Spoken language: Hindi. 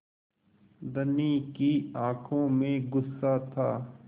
धनी की आँखों में गुस्सा था